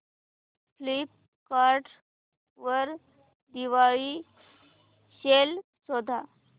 Flipkart वर Diwali sale शोधा